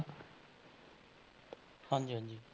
ਹਾਂਜੀ ਹਾਂਜੀ।